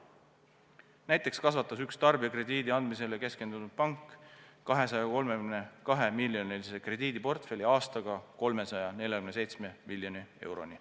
Näiteks kasvatas üks tarbijakrediidi andmisele keskendunud pank 232-miljonilise krediidiportfelli aastaga 347 miljoni euroni.